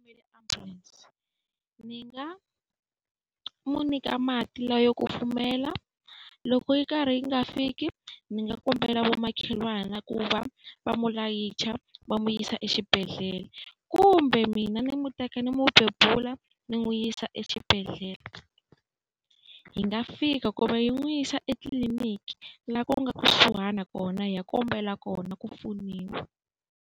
ambulanse ni nga n'wi nyika mati lawa yo kufumela, loko yi karhi yi nga fiki ndzi nga kombela vamakhelwani ku va va n'wi layicha va n'wi yisa exibedhlele. Kumbe mina ni n'wi teka ni n'wi bebula ni n'wi yisa exibedhlele. Hi nga fika, kumbe hi n'wi yisa etliliniki laha ku nga kusuhana kona, hi ya kombela kona ku pfuniwa.